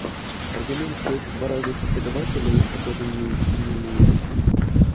аргумент что это два разных преподавателя их похоже не не убедил